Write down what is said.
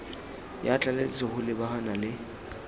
ya tlaleletso go lebagana le